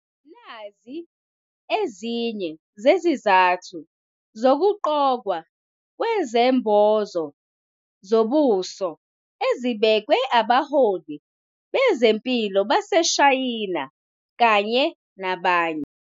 Nazi ezinye zezizathu zokugqokwa kwezembozo zobuso ezibekwe abaholi bezempilo baseShayina kanye nabanye.